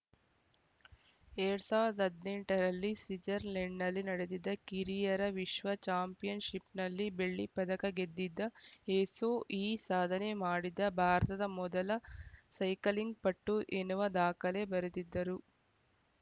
ಎರಡ್ ಸಾವಿರದ ಹದಿನೆಂಟ ರಲ್ಲಿ ಸ್ವಿಜರ್‌ಲೆಂಡ್‌ನಲ್ಲಿ ನಡೆದಿದ್ದ ಕಿರಿಯರ ವಿಶ್ವ ಚಾಂಪಿಯನ್‌ಶಿಪ್‌ನಲ್ಲಿ ಬೆಳ್ಳಿ ಪದಕ ಗೆದ್ದಿದ್ದ ಎಸೋ ಈ ಸಾಧನೆ ಮಾಡಿದ ಭಾರತದ ಮೊದಲ ಸೈಕ್ಲಿಂಗ್‌ ಪಟು ಎನ್ನುವ ದಾಖಲೆ ಬರೆದಿದ್ದರು